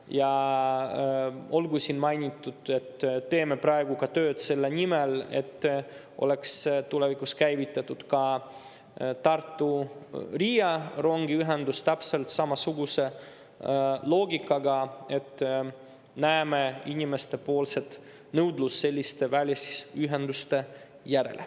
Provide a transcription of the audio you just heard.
Ja olgu siin mainitud, et teeme praegu ka tööd selle nimel, et tulevikus käivitataks ka Tartu-Riia rongiühendus täpselt samasuguse loogikaga, sest näeme inimeste nõudlust selliste välisühenduste järele.